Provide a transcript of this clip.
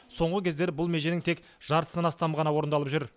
соңғы кездері бұл меженің тек жартысынан астамы ғана орындалып жүр